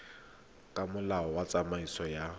ka molao wa tsamaiso ya